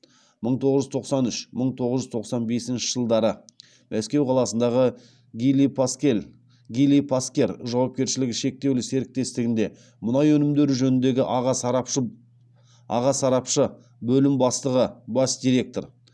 мың тоғыз жүз тоқсан үш мың тоғыз жүз тоқсан бесінші жылдары мәскеу қаласындағы гили паскер жауапкершілігі шектеулі серіктестігінде мұнай өнімдері жөніндегі аға сарапшы бөлім бастығы бас директор